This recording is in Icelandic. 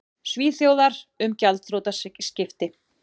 Svíþjóðar, um gjaldþrotaskipti.